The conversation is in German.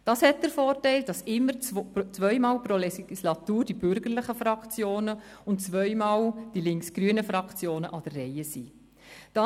Das hat den Vorteil, dass immer zweimal pro Legislatur die Bürgerlichen und zweimal die links-grünen Fraktionen an der Reihe sind.